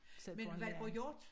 Selv får en læring